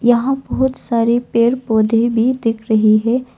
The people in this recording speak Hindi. यहां बहुत सारे पेड़ पौधे भी दिख रही है।